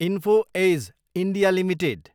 info Edge, India, limited